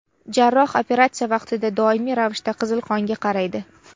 Jarroh operatsiya vaqtida doimiy ravishda qizil qonga qaraydi.